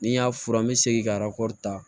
Ni n y'a furan n be segin ka ta